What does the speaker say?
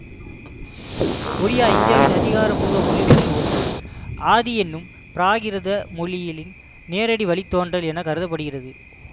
ஒடியா இந்தியாவின் அதிகாரபூர்வ மொழிகளுள் ஒன்று ஆதி என்னும் பிராகிருத மொழியின் நேரடி வழி தோன்றல் என கருத படுகின்றது